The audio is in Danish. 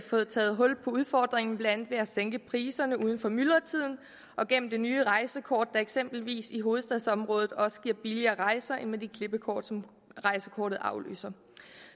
fået taget hul på udfordringen blandt andet ved at sænke priserne uden for myldretiden og gennem det nye rejsekort der eksempelvis i hovedstadsområdet også giver billigere rejser end de klippekort som rejsekortet afløser